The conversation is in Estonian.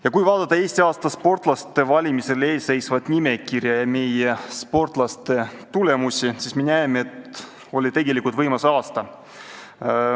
Ja kui vaadata Eesti aasta sportlaste eelseisva valimise nimekirja ja meie sportlaste tulemusi, siis me näeme, et tegelikult oli võimas aasta.